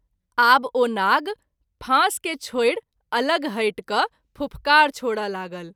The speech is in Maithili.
आब ओ नाग फास के छोड़ि अलग हटि क’ फूफकार छोड़य लागल।